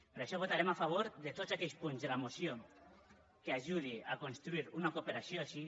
per això votarem a favor de tots aquells punts de la moció que ajudin a construir una cooperació així